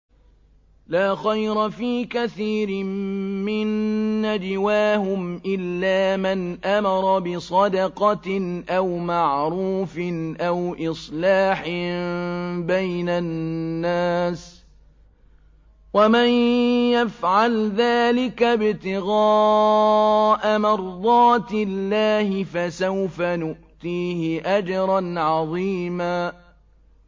۞ لَّا خَيْرَ فِي كَثِيرٍ مِّن نَّجْوَاهُمْ إِلَّا مَنْ أَمَرَ بِصَدَقَةٍ أَوْ مَعْرُوفٍ أَوْ إِصْلَاحٍ بَيْنَ النَّاسِ ۚ وَمَن يَفْعَلْ ذَٰلِكَ ابْتِغَاءَ مَرْضَاتِ اللَّهِ فَسَوْفَ نُؤْتِيهِ أَجْرًا عَظِيمًا